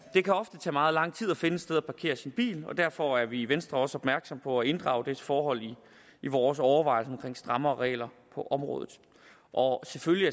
det kan ofte tage meget lang tid at finde et sted parkere sin bil og derfor er vi i venstre også opmærksomme på at inddrage dette forhold i vores overvejelser om strengere regler på området og selvfølgelig